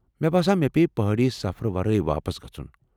مےٚ باسان مےٚ پیٚیہِ پہٲڈی سفرٕ ورٲے واپس گژھُن۔